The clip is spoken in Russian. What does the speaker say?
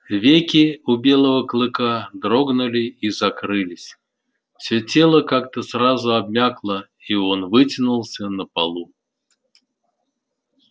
веки у белого клыка дрогнули и закрылись всё тело как то сразу обмякло и он вытянулся на полу